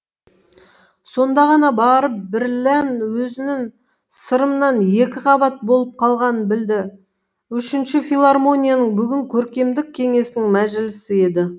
сонда ғана барып бірлән өзінін сырымнан екіқабат болып қалғанын білді үшінші филармонияның бүгін көркемдік кеңесінің мәжілісі еді